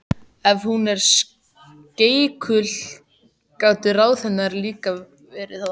Ef hún var skeikul gátu ráð hennar líka verið það.